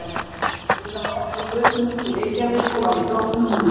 Hann spilaði oft á götum úti í Reykjavík og var í flottum búningum.